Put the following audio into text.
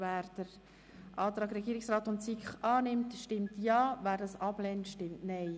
Wer den Antrag Regierungsrat/SiK annimmt, stimmt Ja, wer diesen ablehnt, stimmt Nein.